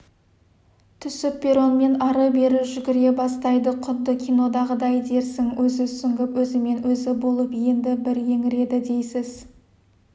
түсіп перронмен ары-бері жүгіре бастайды құдды кинодағыдай дерсің өзі сүңгіп өзімен-өзі болып енді бір еңіреді дейсіз